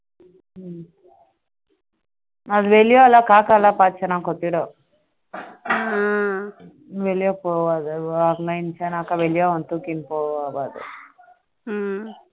அது வெளியான காக்காவை எல்லாம் பார்த்தா கொட்டிடும் வெளியே போகாத வெளியே தூக்கிட்டு போகும் அது